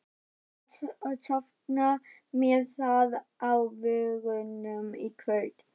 Hann ætlar að sofna með það á vörunum í kvöld.